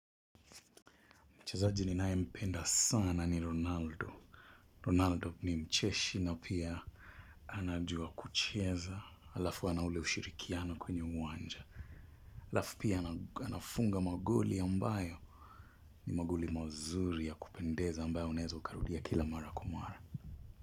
Mchezaji ninaye mpenda sana ni Ronaldo. Ronaldo ni mcheshi na pia anajua kucheza. Alafu ana ule ushirikiano kwenye uwanja. Alafu pia anafunga magoli ambayo. Ni magoli mazuri ya kupendeza ambayo unaeza ukarudia kila mara kwa mara.